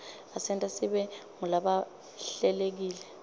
asenta sibe ngulabahlelekile